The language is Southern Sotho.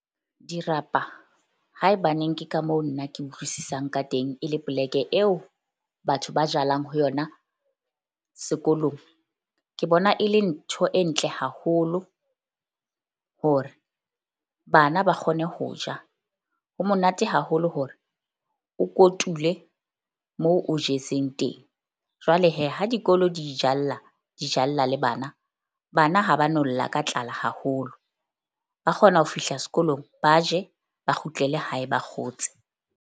Dirapa haebaneng ke ka moo nna ke utlwisisang ka teng e le poleke eo batho ba jalang ho yona sekolong. Ke bona e le ntho e ntle haholo hore bana ba kgone ho ja. Ho monate haholo hore o kotule moo o jetseng teng. Jwale ha di dikolo di ijalla, di jalla le bana. Bana ha ba no lla ka tlala haholo, ba kgona ho fihla sekolong ba je ba kgutlele hae ba kgotse.